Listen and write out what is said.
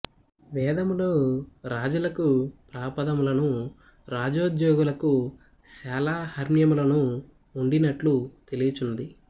వేదములలో రాజులకు ప్రాపదములను రాజోద్యోగులకు శాలా హర్మ్యములు ఉండినట్లు తెలియుచున్నది